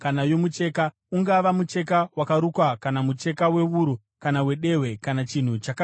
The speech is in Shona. ungava mucheka wakarukwa kana mucheka wewuru kana wedehwe kana chinhu chakagadzirwa nedehwe,